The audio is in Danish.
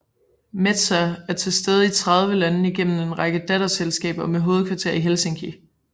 Metsä er tilstede i 30 lande gennem en række datterselskaber og med hovedkvarter i Helsinki